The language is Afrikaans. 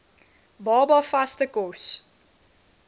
baba vaste kos